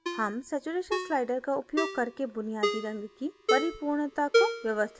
हम saturation slider का उपयोग करके बुनियादी रंग की परिपूर्णता को व्यवस्थित कर सकते हैं